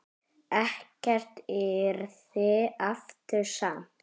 Ekkert yrði aftur samt.